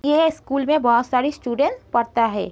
ये स्कूल में बोहोत सारे स्टूडेंट्स पढ़ता हैं।